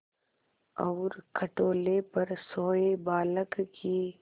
और खटोले पर सोए बालक की